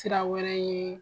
Sira wɛrɛ ye